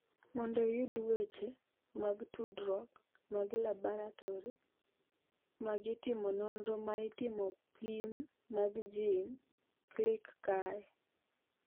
Mondo iyud weche mag tudruok mag laboratori mag timo nonro ma timo pim mag gene, klik kae.